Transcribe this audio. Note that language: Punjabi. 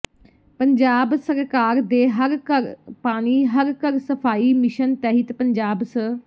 ਪੰਜਾਬ ਸਰਕਾਰ ਦੇ ਹਰ ਘਰ ਪਾਣੀ ਹਰ ਘਰ ਸਫ਼ਾਈ ਮਿਸ਼ਨ ਤਹਿਤ ਪੰਜਾਬ ਸ